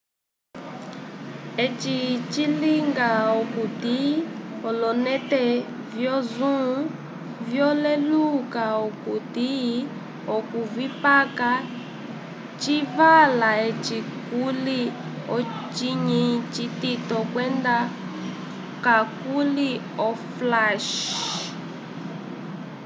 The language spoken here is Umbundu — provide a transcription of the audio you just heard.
eci cilinga okuti ololente vyo zoom vyaleluka okuti okuvikapa civala eci kuli ocinyi citito kwenda kakuli oflash